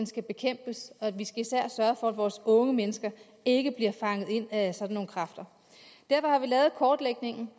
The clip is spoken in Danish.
skal bekæmpes og vi skal især sørge for at vores unge mennesker ikke bliver fanget ind af sådan nogle kræfter derfor har vi lavet kortlægningen